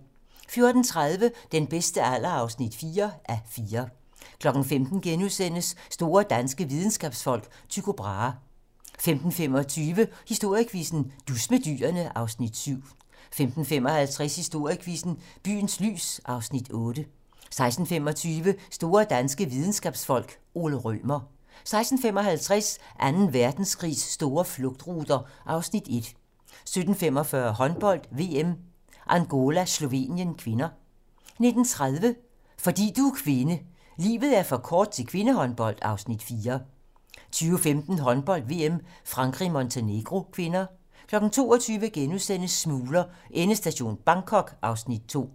14:30: Den bedste alder (4:4) 15:00: Store danske videnskabsfolk: Tycho Brahe * 15:25: Historiequizzen: Dus med dyrene (Afs. 7) 15:55: Historiequizzen: Byens lys (Afs. 8) 16:25: Store danske videnskabsfolk: Ole Rømer 16:55: Anden Verdenskrigs store flugtruter (Afs. 1) 17:45: Håndbold: VM - Angola-Slovenien (k) 19:30: Fordi du er kvinde: Livet er for kort til kvindehåndbold (Afs. 4) 20:15: Håndbold: VM - Frankrig-Montenegro (k) 22:00: Smugler: Endestation Bangkok (Afs. 2)*